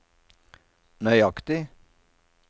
nøyaktig